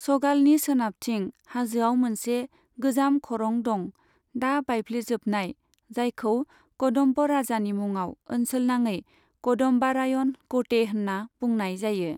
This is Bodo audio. सगालनि सोनाबथिं हाजोआव मोनसे गोजाम खरं दं, दा बायफ्लेजोबनाय, जायखौ कदम्ब राजानि मुङाव ओनसोलनाङै कदम्बारायण कोटे होन्ना बुंनाय जायो।